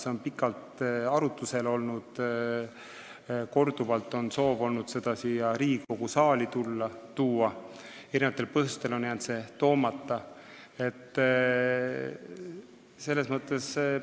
See on pikalt arutusel olnud, korduvalt on soov olnud seda siia Riigikogu saali tuua, aga eri põhjustel on see jäänud siia toomata.